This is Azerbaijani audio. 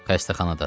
Xəstəxanadadır.